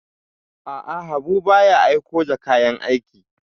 A'a, Habu ba ya aiko da kayan aiki.